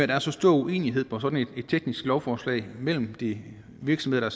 der er så stor uenighed om sådan et teknisk lovforslag mellem de virksomheder